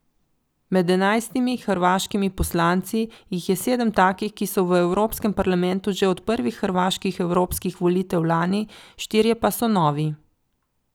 Med enajstimi hrvaškimi poslanci jih je sedem takih, ki so v Evropskem parlamentu že od prvih hrvaških evropskih volitev lani, štirje pa so novi.